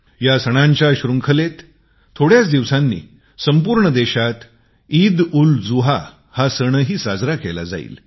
या सणांच्या श्रृंखलेत कांहीच दिवसांनी संपूर्ण देशात ईदउलजुहा हा सण ही साजरा केला जाईल